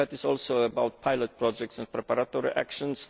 That is also about pilot projects and preparatory actions.